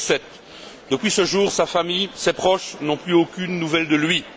2007. Depuis ce jour, sa famille, ses proches, n'ont plus aucune nouvelle de lui.